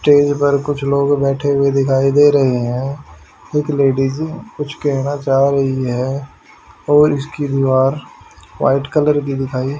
stage पर कुछ लोग बैठे हुए दिखाई दे रहे हैं एक लेडिज कुछ कहना चाह रही है और इसकी दीवार व्हाइट कलर की दिखाई--